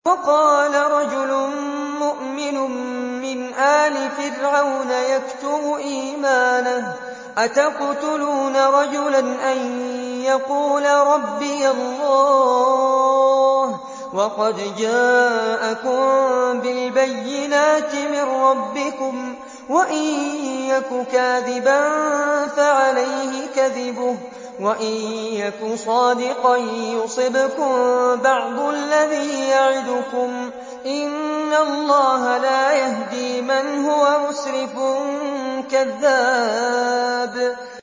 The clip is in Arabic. وَقَالَ رَجُلٌ مُّؤْمِنٌ مِّنْ آلِ فِرْعَوْنَ يَكْتُمُ إِيمَانَهُ أَتَقْتُلُونَ رَجُلًا أَن يَقُولَ رَبِّيَ اللَّهُ وَقَدْ جَاءَكُم بِالْبَيِّنَاتِ مِن رَّبِّكُمْ ۖ وَإِن يَكُ كَاذِبًا فَعَلَيْهِ كَذِبُهُ ۖ وَإِن يَكُ صَادِقًا يُصِبْكُم بَعْضُ الَّذِي يَعِدُكُمْ ۖ إِنَّ اللَّهَ لَا يَهْدِي مَنْ هُوَ مُسْرِفٌ كَذَّابٌ